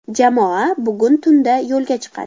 Jamoa bugun tunda yo‘lga chiqadi.